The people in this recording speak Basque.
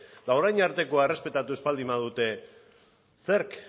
ba orain artekoa errespetatu ez bal din badute zerk